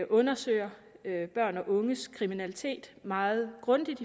undersøger børn og unges kriminalitet meget grundigt